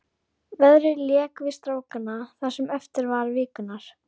Veðrið lék við strákana það sem eftir var vikunnar.